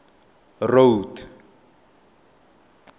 road